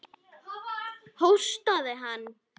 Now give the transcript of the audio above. Hóstaði hann?